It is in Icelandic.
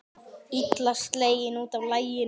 Illa sleginn út af laginu.